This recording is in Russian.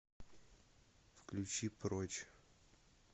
включи прочь